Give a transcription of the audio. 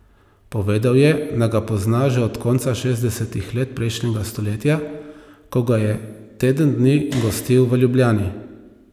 Povedal je, da ga pozna že od konca šestdesetih let prejšnjega stoletja, ko ga je teden dni gostil v Ljubljani.